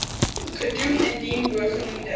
gedoem indien bogenoemde